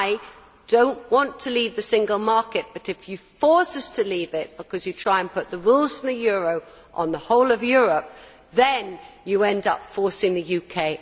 I do not want to leave the single market but, if you force us to leave it, because you try to put the rules for the euro on the whole of Europe, then you end up forcing the UK